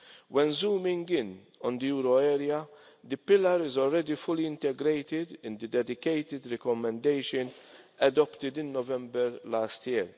When zooming in on the euro area, the Pillar is already fully integrated into the dedicated recommendation adopted in November last